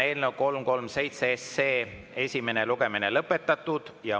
Eelnõu 337 esimene lugemine on lõpetatud.